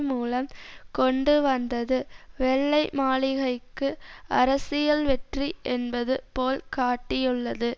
மூலம் கொண்டு வந்தது வெள்ளை மாளிகைக்கு அரசியல் வெற்றி என்பது போல் காட்டியுள்ளது